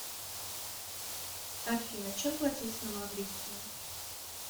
афина чем платить на маврикии